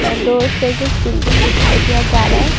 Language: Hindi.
और दो स्टेजिस बिल्डिंग दिखाई दिया जा रहा है।